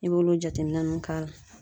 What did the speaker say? I b'olu jateminɛ ninnu k'a la